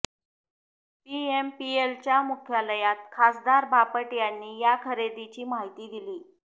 पीएमपीएलच्या मुख्यालयात खासदार बापट यांनी या खरेदीची माहिती दिली